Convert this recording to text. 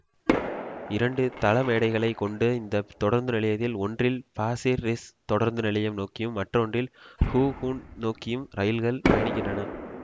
இரண்டு தளமேடைகளை கொண்ட இந்த தொடருந்து நிலையத்தில் ஒன்றில் பாசிர் ரிஸ் தொடருந்து நிலையம் நோக்கியும் மற்றொன்றில் ஹூ கூன் நோக்கியும் ரயில்கள் பயணிக்கின்றன